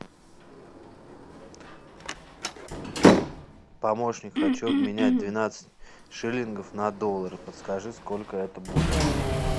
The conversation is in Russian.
помощник хочу обменять двенадцать шиллингов на доллары подскажи сколько это будет